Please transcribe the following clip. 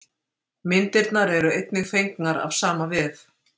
Myndirnar eru einnig fengnar af sama vef.